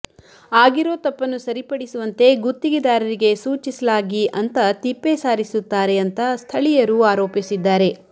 ಆಗಿರೋ ತಪ್ಪನ್ನು ಸರಿಪಡಿಸುವಂತೆ ಗುತ್ತಿಗೆದಾರರಿಗೆ ಸೂಚಿಸಲಾಗಿ ಅಂತಾ ತಿಪ್ಪೇ ಸಾರಿಸುತ್ತಾರೆ ಅಂತಾ ಸ್ಥಳೀಯರು ಆರೋಪಿಸಿದ್ದಾರೆ